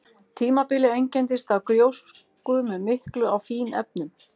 Tímabilið einkenndist af gjósku með miklu af fínefnum.